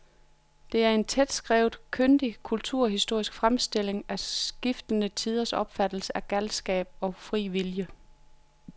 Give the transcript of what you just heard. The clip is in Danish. Det er en tætskrevet, kyndig kulturhistorisk fremstilling af skiftende tiders opfattelse af galskab og fri vilje.